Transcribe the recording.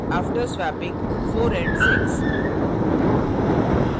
after swapping 4 and 6